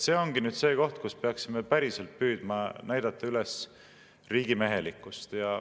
See ongi see koht, kus peaksime päriselt püüdma näidata üles riigimehelikkust.